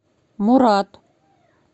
мурат